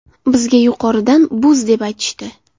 Bizga yuqoridan buz deb aytishdi.